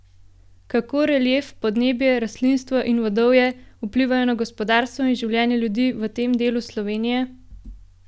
Kako relief, podnebje, rastlinstvo in vodovje vplivajo na gospodarstvo in življenje ljudi v tem delu Slovenije?